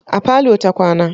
A parlour ta kwana.